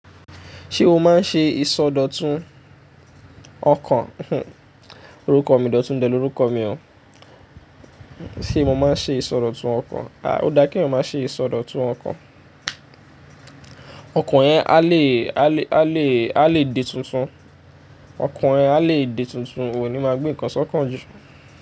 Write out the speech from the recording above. Ṣé o máa ń ṣe ìsọdọ̀tun ọkàn? Orúkọ mi, Dotun dẹ́lẹ̀ orúkọ mi o. Sé mo máa ń ṣe ìsọdọ̀tun ọkàn? Ah! Ó dá kí eyàn máa ṣe ìsọdọ̀tun ọkàn. Ọkàn yẹn a lè, a lè, a lè, a lè di tuntun Ṣé o máa ń ṣe ìsọdọ̀tun ọkàn? Orúkọ mi, Dotun dẹ́ni orúkọ mi o.